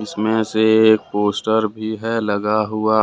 इसमें से एक पोस्टर भी है लगा हुआ